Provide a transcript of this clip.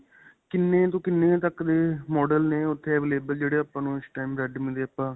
ਕਿੰਨੇ ਤੋਂ ਕਿੰਨੇ ਤੱਕ ਦੇ model ਨੇ ਉੱਥੇ available ਜਿਹੜੇ ਆਪਾਂ ਨੂੰ ਇਸ time redme ਦੇ ਆਪਾਂ